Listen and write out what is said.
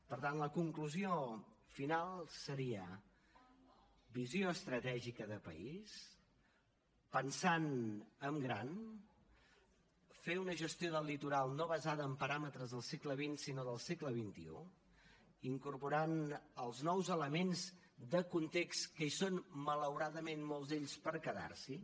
per tant la conclusió final seria visió estratègica de país pensant en gran fer una gestió del litoral no basada en paràmetres del segle xx sinó del segle xxi incorporant els nous elements de context que hi són malauradament molts d’ells per quedar s’hi